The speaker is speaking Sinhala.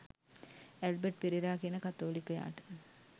ඇල්බට් පෙරේරා කියන කතෝලිකයාට